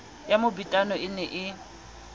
ya mobetano e ne e